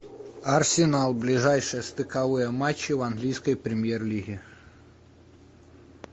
арсенал ближайшие стыковые матчи в английской премьер лиге